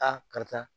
A karisa